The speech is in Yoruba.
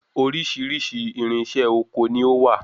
Oríṣiríṣi irinṣẹ́ ọkọ ni ó wà.